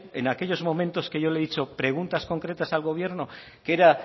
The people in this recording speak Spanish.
en aquellos momentos que yo le he dicho preguntas concretas al gobierno que era